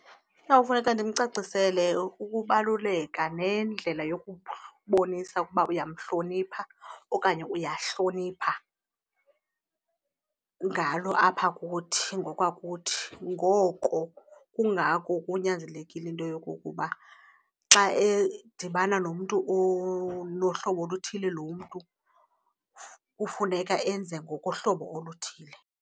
Kuyawufuneka ndimcacisele ukubaluleka nendlela yokubonisa ukuba uyamhlonipha okanye uyahlonipha ngalo apha kuthi ngokwakuthi. Ngoko kungako kunyanzelekile into yokokuba xa edibana nomntu onohlobo oluthile lo mntu kufuneka enze ngokohlobo oluthile.